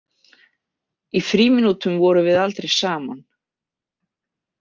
Í frímínútum vorum við aldrei saman.